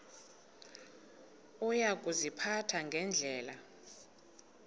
uya kuziphatha ngendlela